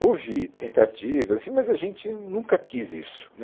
Houve tentativas assim, mas a gente nunca quis isso né.